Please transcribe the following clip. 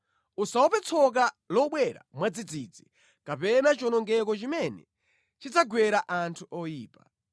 Usaope tsoka lobwera mwadzidzidzi kapena chiwonongeko chimene chidzagwera anthu oyipa,